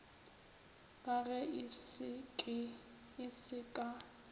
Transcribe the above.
ka ge se se ka